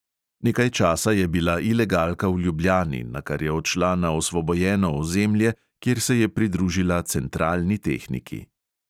Nekaj časa je bila ilegalka v ljubljani, nakar je odšla na osvobojeno ozemlje, kjer se je pridružila centralni tehniki.